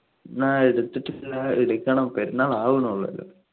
ആഹ് എടുത്തിട്ടില്ല എടുക്കണം പെരുന്നാൾ ആവുനുള്ളു അല്ലോ